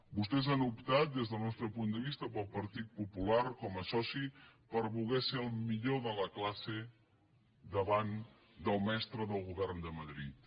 vostès han optat des del nostre punt de vista pel partit popular com a soci per voler ser el millor de la classe davant del mestre del govern de madrid